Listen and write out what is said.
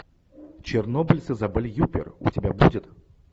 чернобыль с изабель юппер у тебя будет